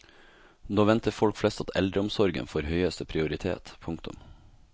Nå venter folk flest at eldreomsorgen får høyeste prioritet. punktum